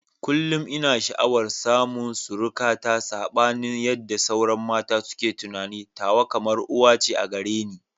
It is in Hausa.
Kullum ina sha'awar samun surukata, sabanin yadda sauran mata suke tunani, tawa kamar uwa ce a gare ni.